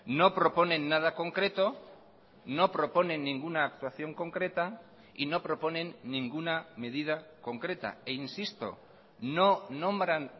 no proponen nada concreto no proponen ninguna actuación concreta y no proponen ninguna medida concreta e insisto no nombran